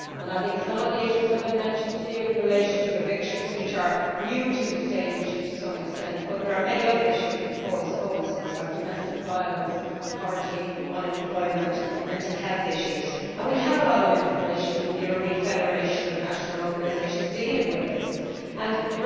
I think that some of the issues have been mentioned here in relation to evictions, which are new to the stage to some extent, but there are many other issues which cause homelessness, such as domestic violence, poverty, unemployment and mental health issues. We have a lot of information from the European Federation of National Organisations Working with the Homeless dealing with this.